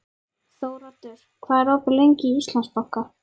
Þóroddur, hvað er opið lengi í Íslandsbanka?